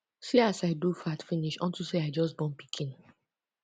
see as i do fat finish unto say i just born pikin